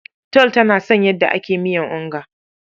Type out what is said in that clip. Tall ta san yadda ake miya onga.